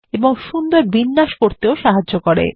এবং সুন্দর বিন্যাস করতে সাহায্য করে